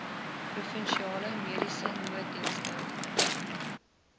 provinsiale mediese nooddienste